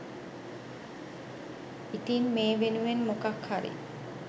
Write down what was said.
ඉතින් මේ වෙනුවෙන් මොකක්හරි